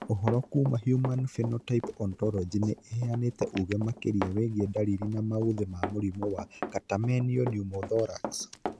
Ũhoro kuma Human Phenotype Ontology nĩ ĩheanĩte ũge makĩria wĩgiĩ ndariri na mauthĩ ma mũrimũ Catamenial pneumothorax.